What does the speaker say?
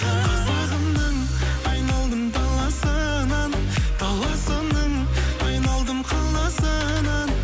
қазағымның айналдым даласынан даласының айналдым қаласынан